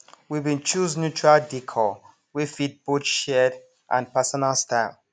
we been choose neutral dcor wey fit both shared and personal style